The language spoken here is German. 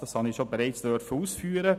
Das durfte ich bereits ausführen.